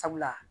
Sabula